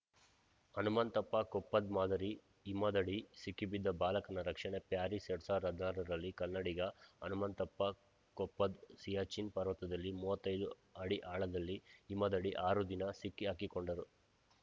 ಹನುಮಂತಪ್ಪ ಕೊಪ್ಪದ್‌ ಮಾದರಿ ಹಿಮದಡಿ ಸಿಕ್ಕಿಬಿದ್ದ ಬಾಲಕನ ರಕ್ಷಣೆ ಪ್ಯಾರಿಸ್‌ ಎರಡ್ ಸಾವಿರದ ಹದಿನಾರರಲ್ಲಿ ಕನ್ನಡಿಗ ಹನುಮಂತಪ್ಪ ಕೊಪ್ಪದ್‌ ಸಿಯಾಚಿನ್‌ ಪರ್ವತದಲ್ಲಿ ಮೂವತ್ತೈದು ಅಡಿ ಆಳದಲ್ಲಿ ಹಿಮದಡಿ ಆರು ದಿನ ಸಿಕ್ಕಿಹಾಕಿಕೊಂಡು